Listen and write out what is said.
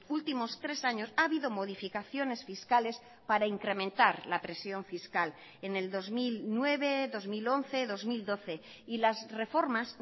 últimos tres años ha habido modificaciones fiscales para incrementar la presión fiscal en el dos mil nueve dos mil once dos mil doce y las reformas